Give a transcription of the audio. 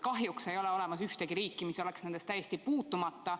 Kahjuks ei ole olemas ühtegi riiki, mis oleks sellest täiesti puutumata.